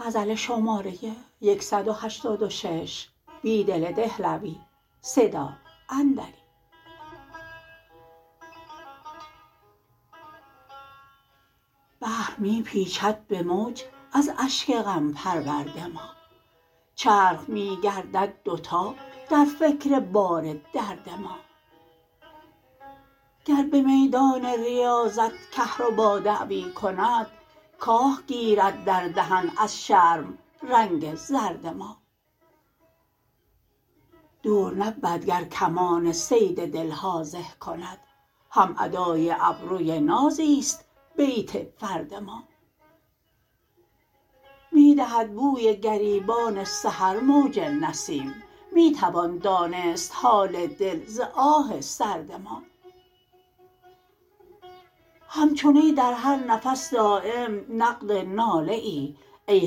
بحر می پیچد به موج از اشک غم پرورد ما چرخ می گردد دوتا در فکر بار درد ما گر به میدان ریاضت کهربا دعوی کند کاه گیرد در دهن از شرم رنگ زرد ما دور نبود گر کمان صید دلها زه کند هم ادای ابروی نازی ست بیت فرد ما می دهد بوی گریبان سحر موج نسیم می توان دانست حال دل ز آه سرد ما همچو نی در هر نفس داریم نقد ناله ای ای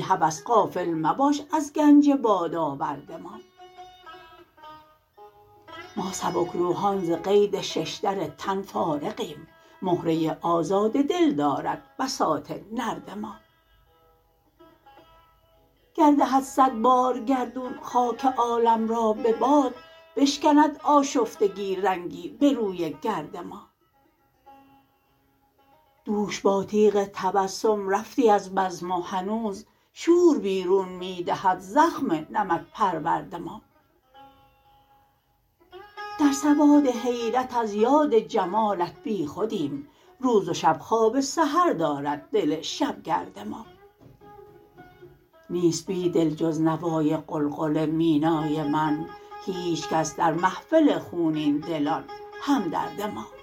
هوس غافل مباش از گنج بادآورد ما ما سبکر وحان ز قید ششدر تن فارغیم مهره آزاد دل دارد بساط نرد ما گر دهد صدبار گردون خاک عالم را به باد بشکند آشفتگی رنگی به روی گرد ما دوش با تیغ تبسم رفتی از بزم و هنوز شور بیرون می دهد زخم نمک پرورد ما در سواد حیرت از یاد جمالت بیخودیم روز و شب خواب سحر دارد دل شبگرد ما نیست بیدل جز نوای قلقل مینای من هیچ کس در محفل خونین دلان همدرد ما